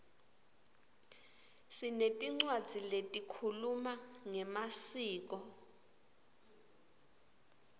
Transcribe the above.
sinetincwadzi letikhuluma ngemaskco